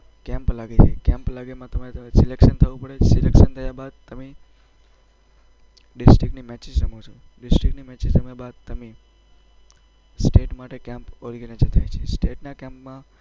Camp લાગશે. કેમ્પમાં તમારે સિલેક્શન થવું પડે. સિલેક્શન થયા બાદ તમે ડિસ્ટ્રિક્ટની મેચ રમી શકશો. ડિસ્ટ્રિક્ટની મેચ રમ્યા બાદ તમે સ્ટેટ માટે કેમ્પ થાય છે. સ્ટેટના કેમ્પમાં